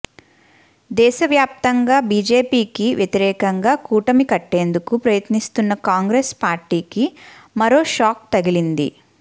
దేశవ్యాప్తంగా బీజేపీకి వ్యతిరేకంగా కూటమి కట్టేందుకు ప్రయత్నిస్తున్న కాంగ్రెస్ పార్టీకి మరో షాక్ తగిలింది